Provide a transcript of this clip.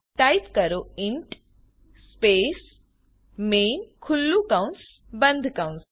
type કરો int space main ખુલ્લું કૌંસ બંધ કૌંસ